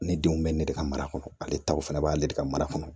Ne denw bɛ ne de ka mara kɔnɔ ale taw fana b'ale de ka mara kɔnɔ